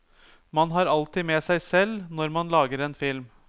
Man har alltid med seg selv når man lager en film.